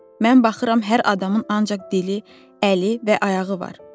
Mən baxıram hər adamın ancaq dili, əli və ayağı var.